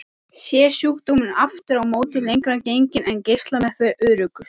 Sé sjúkdómurinn aftur á móti lengra genginn er geislameðferð öruggust.